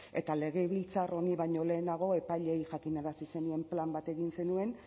eta legebiltzar honi baino lehenago epaileei jakinarazi zenien plan bat egin zenuen